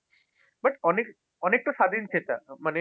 but অনেক অনেকটা স্বাধীনচেতা। মানে